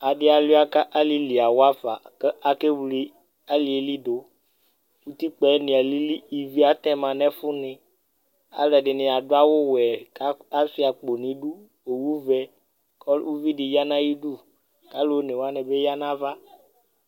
Adi aluia ku alili awafa Ku akewle alili yɛ du Utikpa yɛ ni allii Ivi atɛ ma nu ɛfu ni Alu ɛdini adu awu ɔwɛ ku asua akpo nidu Owu vɛ ku uvi di ya nu ayidu Alu onewani bi ya nu ava